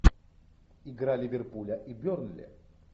игра ливерпуля и бернли